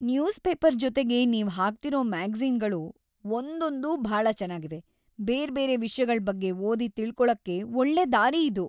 Newspaper ಜೊತೆಗೆ ನೀವ್‌ ಹಾಕ್ತಿರೋ ಮ್ಯಾಗಜೀ಼ನ್‌ಗಳು ಒಂದೊಂದೂ ಭಾಳ ಚೆನಾಗಿವೆ. ಬೇರ್ಬೇರೆ ವಿಷ್ಯಗಳ್‌ ಬಗ್ಗೆ ಓದಿ ತಿಳ್ಕೊಳಕ್ಕೆ ಒಳ್ಳೆ ದಾರಿ ಇದು.